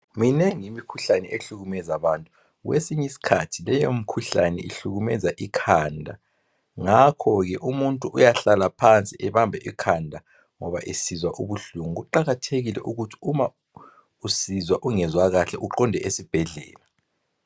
Minengi imikhuhlane ehlukumeza abantu kwesiny' isikhathi leyo mikhuhlane ihlukumeza ikhanda, ngakho ke umuntu uyahlala phansi abambe ikhanda ngoba esizwa ubuhlungu, kuqakathekile ukuthi uma usizwa ungezwa kahle uqonde esibhedlela.